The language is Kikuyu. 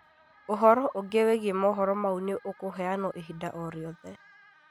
ũhoro ũngĩ wĩgiĩ mohoro mau nĩũkũheanwo ihinda o riothe